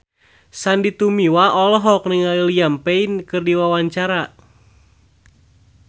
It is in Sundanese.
Sandy Tumiwa olohok ningali Liam Payne keur diwawancara